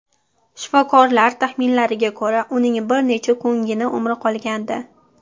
Shifokorlar taxminlariga ko‘ra, uning bir necha kungina umri qolgandi.